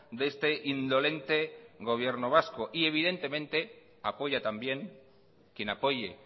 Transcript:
de este indolente gobierno vasco y evidentemente apoya también quien apoye